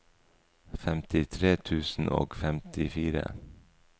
femtitre tusen og femtifire